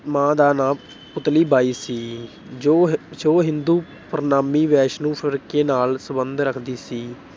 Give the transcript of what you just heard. ਮਾਂ ਦਾ ਨਾਮ ਪੁਤਲੀ ਬਾਈ ਸੀ। ਜੋ ਅਹ ਜੋ ਹਿੰਦੂ ਪਰਿਨਾਮੀ ਵੈਸ਼ਨੂੰ ਫਿਰਕੇ ਨਾਲ ਸਬੰਧ ਰੱਖਦੀ ਸੀ।